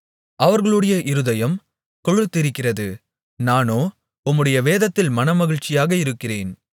அவர்களுடைய இருதயம் கொழுத்திருக்கிறது நானோ உம்முடைய வேதத்தில் மனமகிழ்ச்சியாக இருக்கிறேன்